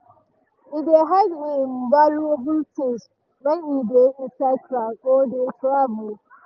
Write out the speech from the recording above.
e dey hide im valuable things when e dey inside crowd or dey travel.